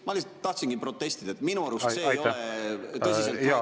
Ma lihtsalt tahtsin protestida, sest minu arust see ei ole tõsiselt võetav istungi juhtimine.